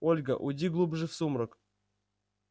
ольга уйди глубже в сумрак